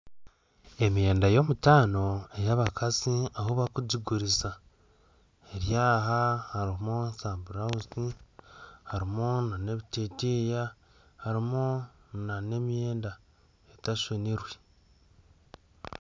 Emyenda yomutaano ebyabakazi ahu barikugiguriza eryaha harimu za burawuzie harimu ebiteteeya harimu nana emyenda etashonirwe